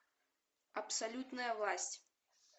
абсолютная власть